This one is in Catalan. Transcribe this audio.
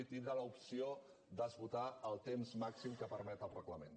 i tindre l’opció d’esgotar el temps màxim que permet el reglament